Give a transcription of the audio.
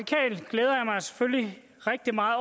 selvfølgelig rigtig meget